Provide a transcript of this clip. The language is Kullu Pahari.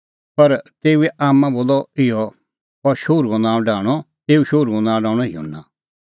पर तेऊए आम्मां बोलअ इहअ एऊ शोहरूओ नांअ डाहंणअ युहन्ना